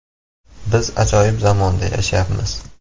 Biz ajoyib zamonda yashayapmiz.